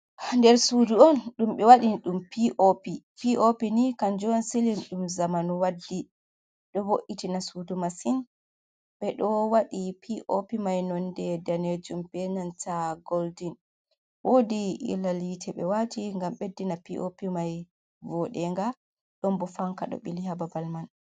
Nder suudu on, ɗum ɓe waɗi ɗum p.o.p, p.o.p nii kanjum siilin on ɗum zamanu waddi ɗo vo’’itina suudu masin ɓe ɗo wadi p.o.p mai nonnde daneejum bee nanta golden, woodi iilal yiite ɓe waati ngam ɓeddina p.op. mai voodugo, ɗon boo fanka ɗo ɓili haa babal man.